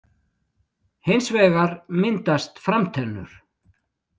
Hins vegar myndast framtennur.